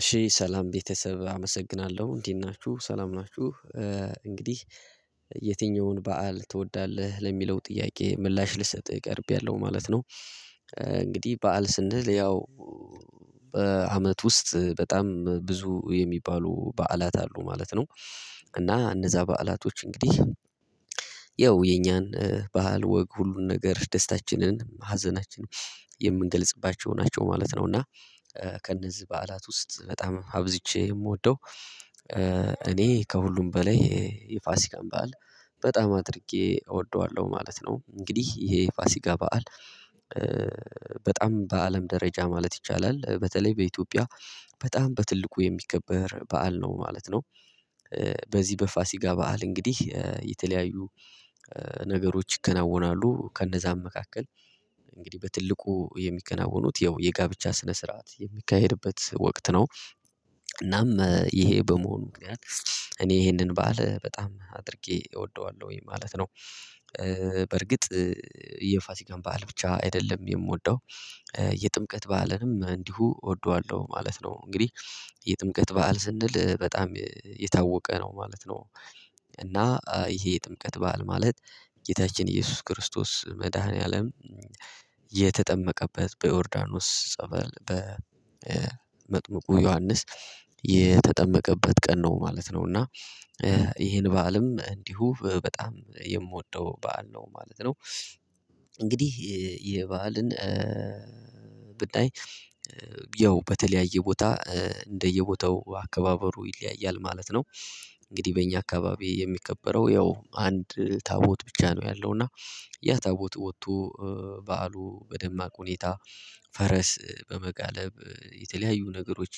እሺ ሰላም ቤተሰብ አመሰግናለሁ እንዴት ናችሁ ሰላም ናችሁ። እንግዲህ የትኛውን በዓል ትወዳለህ ለሚለው ጥያቄ ምላሽ ልሰጥ ቀርቤያለሁ ማለት ነው። እንግዲህ በዓል ስንል ያው በአመት ውስጥ በጣም ብዙ የሚባሉ በዓላት አሉ ማለት ነው። እና እነዛ በዓላቶች እንግዲህ ያው የኛን ባህል ወግ ሁሉን ነገር ደስታችንን ሀዘናችንን የምንገልጽባቸው ናቸው ማለት ነው። እና ከእነዚህ በዓላት ውስጥ በጣም አብዝቼ የምወደው እኔ ከሁሉም በላይ የፋሲካን በዓል በጣም አድርጌ እወደዋለሁ ማለት ነው። እንግዲህ ይሄ የፋሲካ በዓል በጣም በአለም ደረጃ ማለት ይቻላል በተለይ በኢትዮጵያ በጣም በትልቁ የሚከበር በዓል ነው ማለት ነው። በዚህ በፋሲካ በዓል እንግዲህ የተለያዩ ነገሮች ይከናወናሉ ከነዛም መካከል እንግዲህ በትልቁ የሚከናወኑት ያው የጋብቻ ስነ ስርዓት የሚካሄድበት ወቅት ነው። እናም ይሄ በመሆኑ ምክንያት እኔ ይሄንን በዓል በጣም አድርጌ እወደዋለሁኝ ማለት ነው። በርግጥ የፋሲካን በዓል ብቻ አይደለም የምወደው የጥምቀት በዓልንም እንዲሁ እወደዋለሁ ማለት ነው። እንግዲህ የጥምቀት በዓል ስንል በጣም የታወቀ ነው ማለት ነው። እና ይሄ የጥምቀት በዓል ማለት ጌታችን ኢየሱስ ክርስቶስ መድኃኒዓለም የተጠመቀበት በዮርዳኖስ ጸበል በመጥምቁ ዮሐንስ የተጠመቀበት ቀን ነው ማለት ነው። እና ይሄን በዓልም እንዲሁ በጣም የምወደው በዓል ነው ማለት ነው። እንግዲህ የበዓልን ብናይ ያው በተለያየ ቦታ እንደየቦታው አከባበሩ ይለያያል ማለት ነው። እንግዲህ በእኛ አካባቢ የሚከበረው ያው አንድ ታቦት ብቻ ነው ያለው እና ያ ታቦት ወጥቶ በዓሉ በደማቅ ሁኔታ ፈረስ በመጋለብ የተለያዩ ነገሮች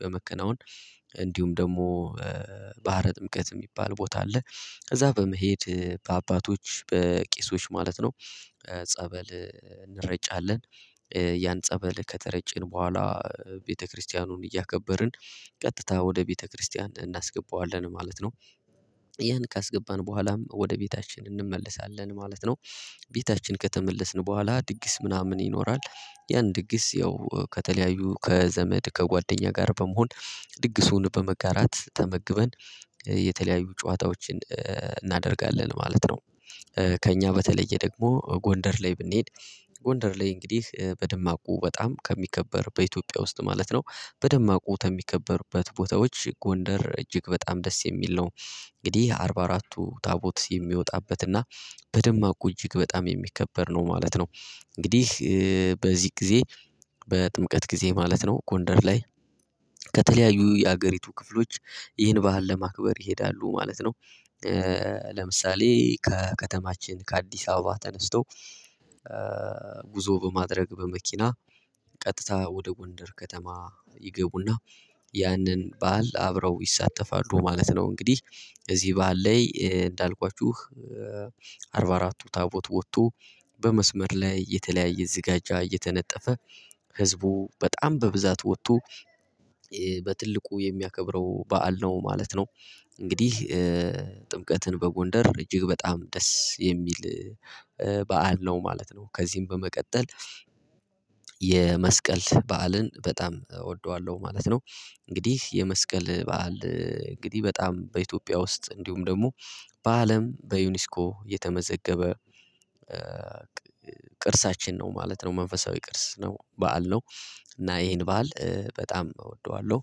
በመከናወን እንዲሁም ደግሞ ባህረ ጥምቀት የሚባል ቦታ አለ። ከዛ በመሄድ በአባቶች በቄሶች ማለት ነው ጸበል እንረጫለን ያን ጸበል ከተረጨን በኋላ ቤተክርስቲያኑን እያከበርን ቀጥታ ወደ ቤተክርስቲያን እናስገባዋለን ማለት ነው። ያን ካስገባን በኋላም ወደ ቤታችን እንመለሳለን ማለት ነው። ቤታችን ከተመለስን በኋላ ድግስ ምናምን ይኖራል ያን ድግስ ያው ከተለያዩ ከዘመድ ከጓደኛ ጋር በመሆን ድግሱን በመጋራት ተመግበን የተለያዩ ጨዋታዎችን እናደርጋለን ማለት ነው። ከእኛ በተለየ ደግሞ ጎንደር ላይ ብንሄድ ጎንደር ላይ እንግዲህ በድማቁ በጣም ከሚከበር በኢትዮጵያ ውስጥ ማለት ነው በደማቁ ከሚከበርበት ቦታዎች ጎንደር እጅግ በጣም ደስ የሚል ነው። እንግዲህ አርባ አራት ታቦት የሚወጣበትና በደማቁ እጅግ በጣም የሚከበር ነው ማለት ነው። እንግዲህ በዚህ ጊዜ በጥምቀት ጊዜ ማለት ነው ጎንደር ላይ ከተለያዩ የሀገሪቱ ክፍሎች ይህን ባህል ለማክበር ይሄዳሉ ማለት ነው። ለምሳሌ ከከተማችን ከአዲስ አበባ ተነስቶ ጉዞ በማድረግ በመኪና ቀጥታ ወደ ጎንደር ከተማ ይገቡና ያንን በዓል አብረው ይሳተፋሉ ማለት ነው። እንግዲህ እዚህ በዓል ላይ እንዳልኳችሁ አርባ አራቱ ታቦት ወጥቶ በመስመር ላይ የተለያየ ዝጋጃ እየተነጠፈ ህዝቡ በጣም በብዛት ወጥቶ በትልቁ የሚያከብረው በዓል ነው ማለት ነው። እንግዲህ ጥምቀትን በጎንደር እጅግ በጣም ደስ የሚል በዓል ነው ማለት ነው። ከዚህም በመቀጠል የመስቀል በዓልን በጣም እወደዋለሁ ማለት ነው። እንግዲህ የመስቀል በዓል እንግዲህ በጣም በኢትዮጵያ ውስጥ እንዲሁም ደግሞ በአለም በዩኒስኮ የተመዘገበ ቅርሳችን ነው ማለት ነው መንፈሳዊ ቅርስ ነው በዓል ነው። እና ይሄን በዓል በጣም እወደዋለሁ።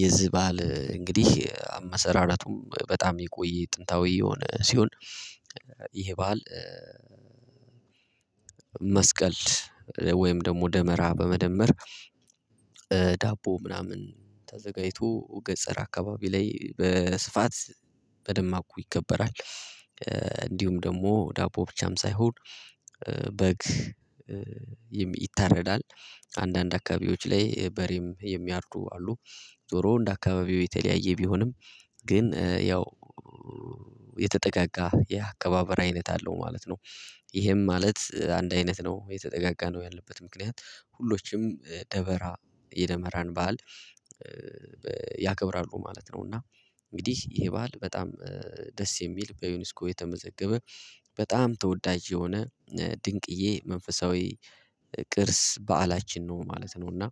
የዚህ በዓል እንግዲህ አመሰራራቱም በጣም የቆየ ጥንታዊ የሆነ ሲሆን ይሄ በዓል መስቀል ወይም ደግሞ ደመራ በመደመር ዳቦ ምናምን ተዘጋጅቶ ገጠር አካባቢ ላይ በስፋት በደማቁ ይከበራል። እንዲሁም ደግሞ ዳቦ ብቻም ሳይሆን በግ ይታረዳል። አንዳንድ አካባቢዎች ላይ በሬም የሚያርዱ አሉ። ዞሮ እንደ አካባቢው የተለያየ ቢሆንም ግን ያው የተጠጋጋ የአከባበር አይነት አለው ማለት ነው። ይሄም ማለት አንድ አይነት ነው የተጠጋጋ ነው ያልንበት ምክንያት ሁሎችም ደመራ የደመራን በዓል ያከብራሉ ማለት ነው። እና እንግዲህ ይሄ በዓል በጣም ደስ የሚል በዩኒስኮ የተመዘገበ በጣም ተወዳጅ የሆነ ድንቅዬ መንፈሳዊ ቅርስ በዓላችን ነው ማለት ነው። እና